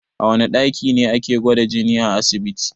A wana ɗaki ne ake gwada jini a asibiti?